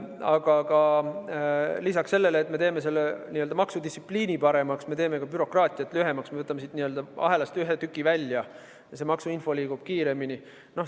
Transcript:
Aga peale selle, et me teeme maksudistsipliini paremaks, me teeme ka bürokraatiat lühemaks – me võtame siit ahelast ühe tüki välja ja maksuinfo liigub kiiremini.